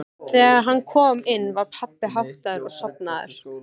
Þegar hann kom inn var pabbi háttaður og sofnaður.